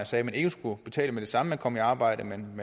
sagde at man ikke skulle betale med det samme man kom i arbejde men at